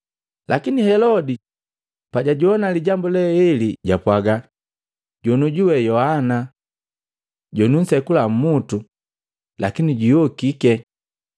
Lakini Helodi pajajoa lijambu le eli japwaga, “Jonioju we Yohana! Jonunsekula umutu, lakini juyokiti!”